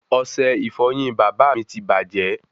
Ọsẹ ìfọyín bàbá mí tí bajẹ